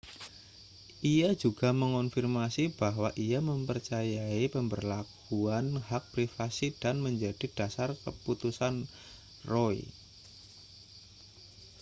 ia juga mengonfirmasi bahwa ia mempercayai pemberlakuan hak privasi yang menjadi dasar keputusan roe